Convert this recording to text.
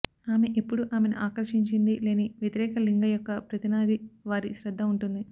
ఆమె ఎప్పుడూ ఆమెను ఆకర్షించింది లేని వ్యతిరేక లింగ యొక్క ప్రతినిధి వారి శ్రద్ద ఉంటుంది